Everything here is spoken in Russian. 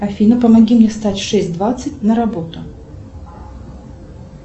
афина помоги мне встать в шесть двадцать на работу